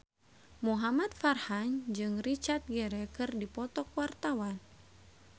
Muhamad Farhan jeung Richard Gere keur dipoto ku wartawan